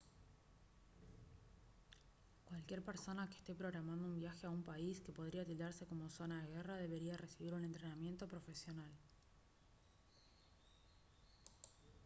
cualquier persona que esté programando un viaje a un país que podría tildarse como zona de guerra debería recibir un entrenamiento profesional